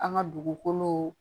An ka dugukolo